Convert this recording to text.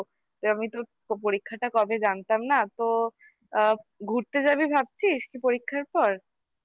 আমি তো তোর পরীক্ষাটা কবে জানতাম না তো আ ঘুরতে যাবি ভাবছিস কি পরীক্ষার পর